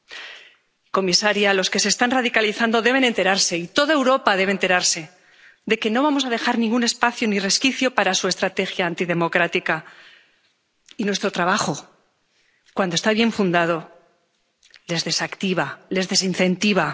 Señora comisaria, los que se están radicalizando deben enterarse —y toda Europa debe enterarse— de que no vamos a dejar ningún espacio ni resquicio para su estrategia antidemocrática, y nuestro trabajo, cuando está bien fundado, los desactiva, los desincentiva.